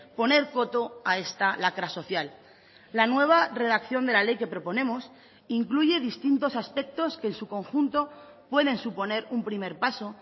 poner coto a esta lacra social la nueva redacción de la ley que proponemos incluye distintos aspectos que en su conjunto pueden suponer un primer paso